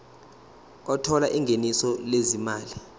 othola ingeniso lezimali